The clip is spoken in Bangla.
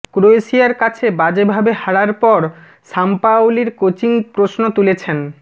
ক্রোয়েশিয়ার কাছে বাজেভাবে হারার পর সাম্পাওলির কোচিং প্রশ্ন তুলেছেন